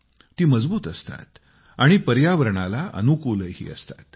ती मजबूत असतात आणि पर्यावरणाला अनुकूलही असतात